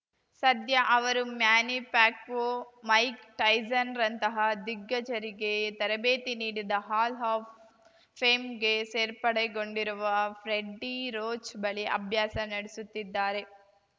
ಸದ್ಯ ಅವರು Manny Pacquiao Mike ಟೈಸನ್‌ರಂತಹ ದಿಗ್ಗಜರಿಗೆ ತರಬೇತಿ ನೀಡಿದ ಹಾಲ್‌ ಆಫ್‌ ಫೇಮ್‌ಗೆ ಸೇರ್ಪಡೆಗೊಂಡಿರುವ ಫ್ರೆಡ್ಡಿ ರೋಚ್‌ ಬಳಿ ಅಭ್ಯಾಸ ನಡೆಸುತ್ತಿದ್ದಾರೆ